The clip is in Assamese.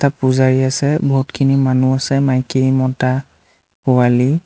পূজাৰী আছে বহুতখিনি মানুহ আছে মাইকী মতা পোৱালি--